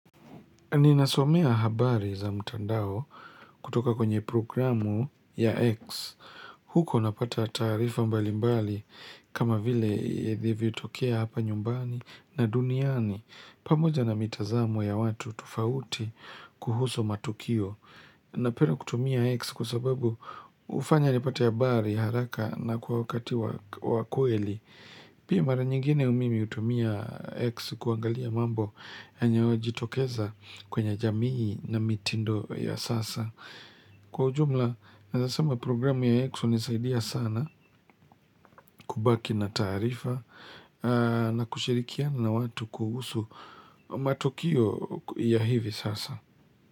Ninasomea habari za mtandao kutoka kwenye programu ya X. Huko napata taarifa mbalimbali kama vile ilivyo tokea hapa nyumbani na duniani. Pamoja na mitazamo ya watu tofauti kuhusu matukio. Napenda kutumia X kwasababu hufanya nipate habari haraka na kwa wakati wa kweli. Pia mara nyingine mimi hutumia X kuangalia mambo yanayojitokeza kwenye jamii na mitindo ya sasa. Kwa ujumla, nawezasema programu ya X hunisaidia sana kubaki na taarifa na kushirikiana na watu kuhusu matukio ya hivi sasa.